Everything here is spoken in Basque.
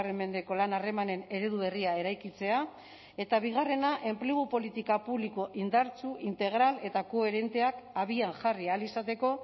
mendeko lan harremanen eredu berria eraikitzea eta bigarrena enplegu politika publiko indartsu integral eta koherenteak abian jarri ahal izateko